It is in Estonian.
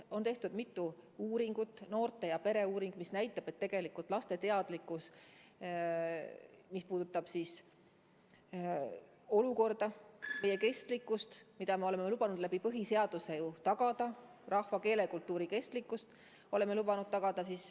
On tehtud mitu uuringut ning näiteks noorte- ja pereuuring näitab, et tegelikult teadlikkus, mis puudutab praegust olukorda, meie kestvust, mida me oleme oma põhiseaduses ju lubanud tagada – oleme lubanud tagada oma rahva, keele ja kultuuri kestmise –, on madal.